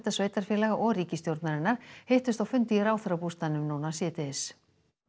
sveitarfélaga og ríkisstjórnarinnar hittust á fundi í ráðherrabústaðnum síðdegis